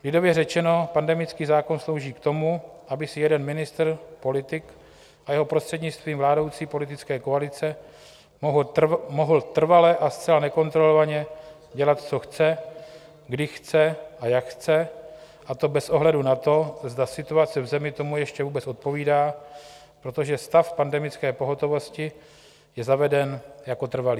Lidově řečeno, pandemický zákon slouží k tomu, aby si jeden ministr, politik, a jeho prostřednictvím vládnoucí politické koalice mohly trvale a zcela nekontrolovaně dělat, co chce, kdy chce a jak chce, a to bez ohledu na to, zda situace v zemi tomu ještě vůbec odpovídá, protože stav pandemické pohotovosti je zaveden jako trvalý.